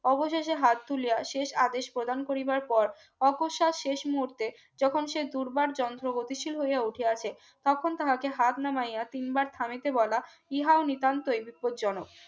অবশেষে হাত তুলে শেষ আদেশ প্রদান করিবার পর অকস্মাশ শেষ মুহূর্তে যখন সে দুর্বার যন্ত্র গতিশীল হয়ে উঠে আছে তখন তাকে হাত নামাইয়া কিংবা থামিতে বলা ইহাও নিতান্তই বিপদজনক